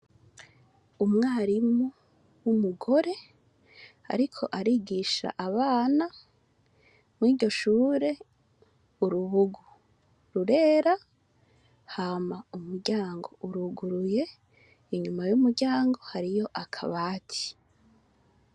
Umwarimu wumugore Ariko arigisha Abana muri ryo Shure urubugu rurera hama umuryango uruguruye inyuma yumuryango hariyo akabati.